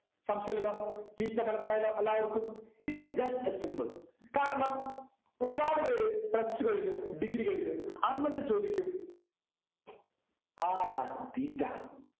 സംശയമില്ലല്ലോ theta മനസിലായല്ലോ എല്ലാവർക്കും ഇത് just a symbol കാരണം ഒരുപാട് പേര് plus two കഴിഞ്ഞു degree കഴിഞ്ഞു ആ ന്നിട്ടും ചോദിക്കും ആരാണ് theta